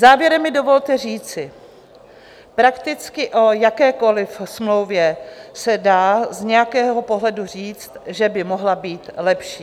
Závěrem mi dovolte říci, prakticky o jakékoliv smlouvě se dá z nějakého pohledu říct, že by mohla být lepší.